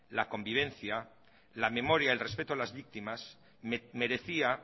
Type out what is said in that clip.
la convivencia la memoria el respeto a las víctimas merecía